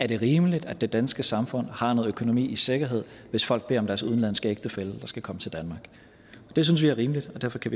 det er rimeligt at det danske samfund har noget økonomi i sikkerhed hvis folk beder om at deres udenlandske ægtefælle skal komme til danmark det synes vi er rimeligt og derfor kan